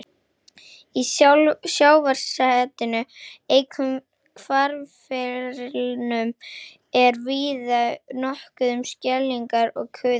Í sjávarsetinu, einkum hvarfleirnum, er víða nokkuð um skeljar og kuðunga.